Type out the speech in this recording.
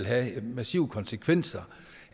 have massive konsekvenser